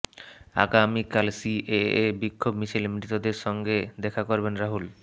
আগামীকাল সিএএ বিক্ষোভ মিছিলে মৃতদের সঙ্গে দেখা করবেন রাহুল